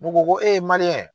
N'u ko ko